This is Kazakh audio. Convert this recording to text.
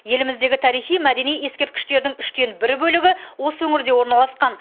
еліміздегі тарихи мәдени ескерткіштердің үштен бір бөлігі осы өңірде орналасқан